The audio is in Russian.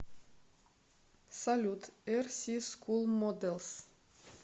салют эр си скул моделс